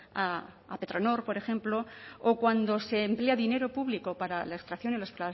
a petronor por ejemplo o cuando se emplea dinero público para la extracción y la